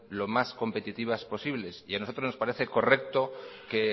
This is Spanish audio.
lo más competitivas posibles y a nosotros nos parece correcto que